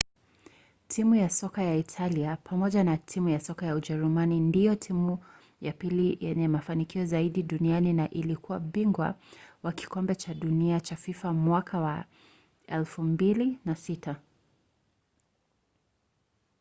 timu ya soka ya italia pamoja na timu ya soka ya ujerumani ndiyo timu ya pili yenye mafanikio zaidi duniani na ilikuwa bingwa wa kikombe cha dunia cha fifa mwaka wa 2006